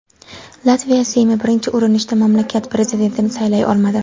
Latviya Seymi birinchi urinishda mamlakat prezidentini saylay olmadi.